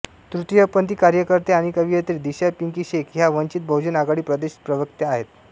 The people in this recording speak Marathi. तृतीयपंथी कार्यकर्त्या आणि कवयित्री दिशा पिंकी शेख ह्या वंचित बहुजन आघाडी प्रदेश प्रवक्त्या आहेत